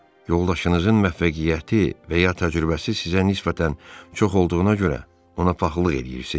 Yoldaşınızın müvəffəqiyyəti və ya təcrübəsi sizə nisbətən çox olduğuna görə ona paxıllıq eləyirsiz?